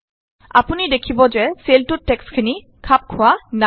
আপুনি দেখিব যে চেলটোত টেক্সটখিনি খাপ খোৱা নাই